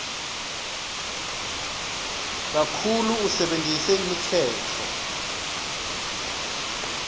kakhulu usebentise imitsetfo